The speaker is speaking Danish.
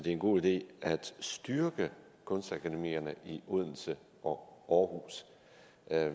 er en god idé at styrke kunstakademierne i odense og aarhus